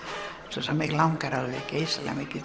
svo mig langar geysilega mikið